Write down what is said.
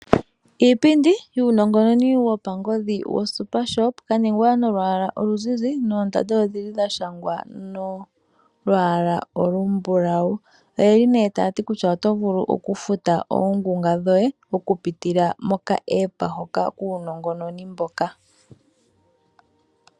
Iipindi yuunongononi wopangodhi woSuper-Shop, kaningwa nolwaalwa omuzizi noondanda odhili dha shangwa nolwaala olumbulawu. Oye li ne taya ti oto vulu okufuta oongunga dhoye mokupitila mokaApp hoka kuunongononi mboka.